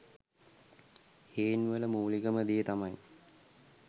හේන් වල මූලිකම දේ තමයි